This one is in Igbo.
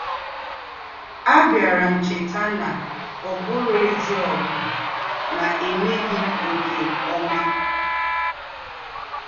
“Àbíárá m chétà nà ọ̀ bùrọ̀ èzí ógù nà èmèghí m nké ọ́mà.”